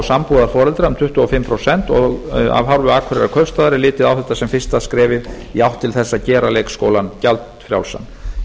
sambúðarforeldra um tuttugu og fimm prósent og af hálfu akureyrarkaupstaðar er litið á þetta sem fyrsta skrefið í átt til þess að gera leikskólann gjaldfrjálsan í